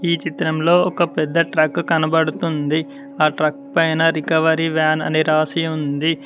ఈ చిత్రంలో ఒక పెద్ద ట్రక్ కనబడుతుంది ఆ ట్రక్ పైన రికవరీ వ్యాన్ అని రాసి ఉంది.